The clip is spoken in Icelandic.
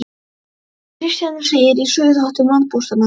Frá Kristjáni segir í Söguþáttum landpóstanna.